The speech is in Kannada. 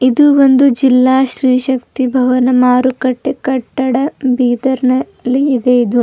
ಇದು ಬಂದು ಜಿಲ್ಲಾ ಶ್ರೀಶಕ್ತಿ ಭವನ್ ಮಾರುಕಟ್ಟೆ ಕಟ್ಟಡ ಬೀದರ್ನಲ್ಲಿ ಇದೆ ಇದು.